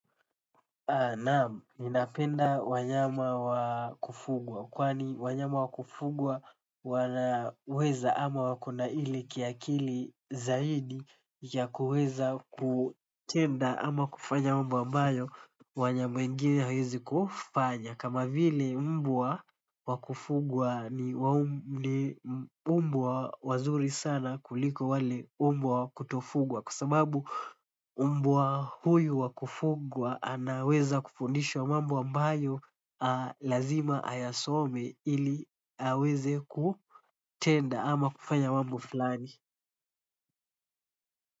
Naam, ninapenda wanyama wakufugwa kwani wanyama wakufugwa wanaweza ama wako na ile kiakili zaidi ya kuweza kutenda ama kufanya mambo ambayo wanyama wengine hawawezi kufanya. Kama vile umbwa wa kufungwa ni mbwa wazuri sana kuliko wale umbwa wakuto fugwa kwa sababu umbwa huyu wakufugwa anaweza kufundishwa mambo ambayo lazima ayasome ili aweze kutenda ama kufanya mambo fulani.